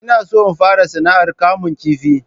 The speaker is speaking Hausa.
Ina so in fara sana'ar kamun kifi